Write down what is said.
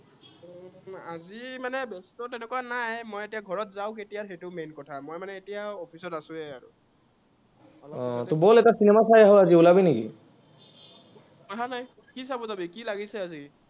অ তো ব'ল এটা cinema চাই আঁহো আজি, ওলাবি নেকি?